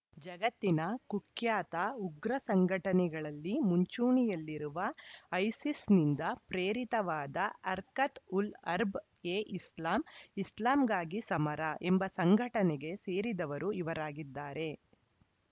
ಜಗತ್ತಿನ ಕುಖ್ಯಾತ ಉಗ್ರ ಸಂಘಟನೆಗಳಲ್ಲಿ ಮುಂಚೂಣಿಯಲ್ಲಿರುವ ಐಸಿಸ್‌ನಿಂದ ಪ್ರೇರಿತವಾದ ಹರ್ಕತ್‌ ಉಲ್‌ ಹರ್ಬ್‌ ಎ ಇಸ್ಲಾಂ ಇಸ್ಲಾಂಗಾಗಿ ಸಮರ ಎಂಬ ಸಂಘಟನೆಗೆ ಸೇರಿದವರು ಇವರಾಗಿದ್ದಾರೆ